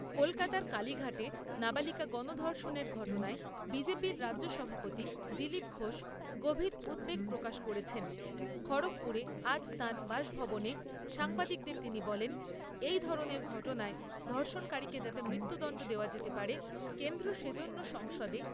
কলকাতার কালীঘাটে নাবালিকা গণধর্ষণের ঘটনায় বিজেপি র রাজ্য সভাপতি দিলীপ ঘোষ গভীর উদ্বেগ প্রকাশ করেছেন। খড়গপুরে আজ তাঁর বাসভবনে সাংবাদিকদের তিনি বলেন, এই ধরণের ঘটনায় ধর্ষণকারীকে যাতে মৃত্যুদণ্ড দেওয়া যেতে পারে, কেন্দ্র সে জন্য সংসদে